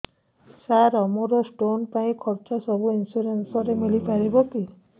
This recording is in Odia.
ସାର ମୋର ସ୍ଟୋନ ପାଇଁ ଖର୍ଚ୍ଚ ସବୁ ଇନ୍ସୁରେନ୍ସ ରେ ମିଳି ପାରିବ କି